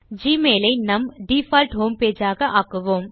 Gmail ஐ நாம் நம் டிஃபால்ட் ஹோம் பேஜ் ஆக்குவோம்